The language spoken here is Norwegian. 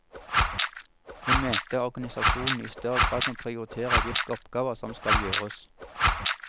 Hun mente organisasjonen i større grad må prioritere hvilke oppgaver som skal gjøres.